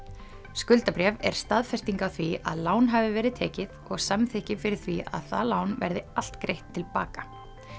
skuldabréf er staðfesting á því að lán hafi verið tekið og samþykki fyrir því að það lán verði allt greitt til baka